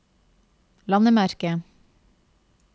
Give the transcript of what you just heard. landemerke